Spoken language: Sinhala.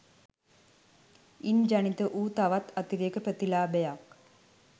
ඉන් ජනිත වූ තවත් අතිරේක ප්‍රතිලාභයක්